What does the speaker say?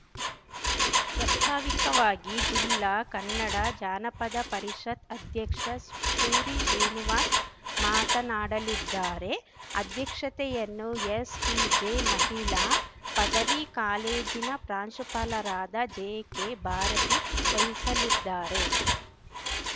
ಪ್ರಸ್ತಾವಿಕವಾಗಿ ಜಿಲ್ಲಾ ಕನ್ನಡ ಜಾನಪದ ಪರಿಷತ್‌ ಅಧ್ಯಕ್ಷ ಸೂರಿಶ್ರೀನಿವಾಸ್‌ ಮಾತನಾಡಲಿದ್ದಾರೆ ಅಧ್ಯಕ್ಷತೆಯನ್ನು ಎಸ್‌ಟಿಜೆ ಮಹಿಳಾ ಪದವಿ ಕಾಲೇಜಿನ ಪ್ರಾಂಶುಪಾಲರಾದ ಜೆ ಕೆ ಭಾರತಿ ವಹಿಸಲಿದ್ದಾರೆ